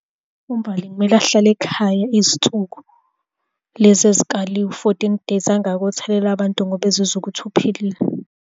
UMbali kumele ahlale ekhaya izinsuku lezi ezikaliwe u-fourteen days angayi ukuyothelela abantu ngoba ezizwa ukuthi uphilile.